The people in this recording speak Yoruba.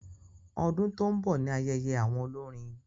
Ọdún tó n bọ ní ayẹyẹ àwọn olórin